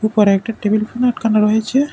উপরে একটা table fan আটকানো রয়েছে।